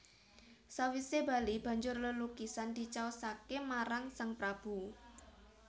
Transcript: Sawisé bali banjur lelukisan dicaosaké marang sang Prabu